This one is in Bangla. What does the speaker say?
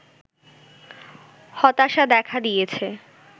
হতাশা দেখা দিয়েছে